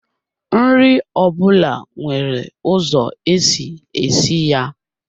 Nri ọ bụla nwere ụzọ esi esi ya